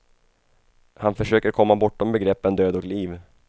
Han försöker komma bortom begreppen död och liv.